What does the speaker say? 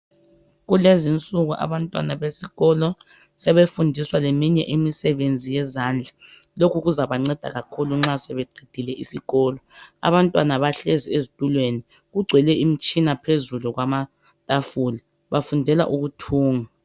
Kulezinsuku abantwana besikolo sebefundiswa leminye imisebenzi yezandla, lokhu kuzabanceda kakhulu nxa sebeqedile isikolo abantwana bahlezi ezitulweni kugcwele imitshina phezulu kwamatafula bafundela ukuthunga.